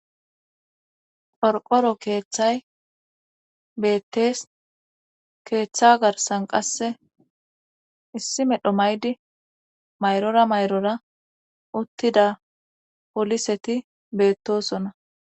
Qorqoro keeththay beettees keeththa garsan qasse issi medho maydi mayrora mayrora uttida poliseti beettosona